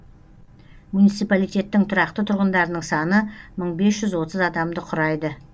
муниципалитеттің тұрақты тұрғындарының саны мың бес жүз отыз адамды құрайды